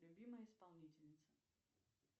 любимая исполнительница